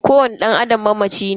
Kowani dan Adam mamaci ne.